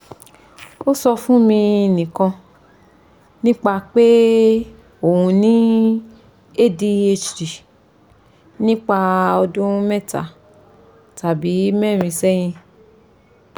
o sọ fun mi nikan nipa pe o ni adhd nipa ọdun meeta tabi meerin sẹhin